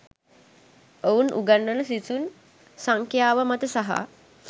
ඔවුන් උගන්වන සිසුන් සංඛ්‍යාව මත සහ